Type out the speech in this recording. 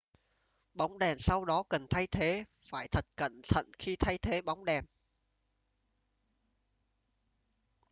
bóng đèn sau đó cần thay thế phải thật cẩn thận khi thay thế bóng đèn